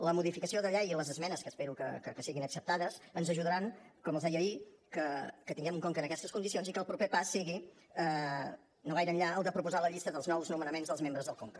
la modificació de llei i les esmenes que espero que siguin acceptades ens ajudaran com els deia ahir que tinguem un conca en aquestes condicions i que el proper pas sigui no gaire enllà el de proposar la llista dels nous nomenaments dels membres del conca